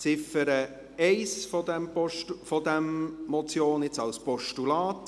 Die Ziffer 1 dieser Motion ist jetzt ein Postulat.